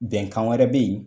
Bɛnkan wɛrɛ bɛ ye.